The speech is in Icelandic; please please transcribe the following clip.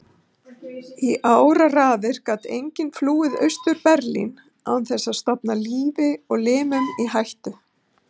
Í áraraðir gat enginn flúið Austur-Berlín án þess að stofna lífi og limum í hættu.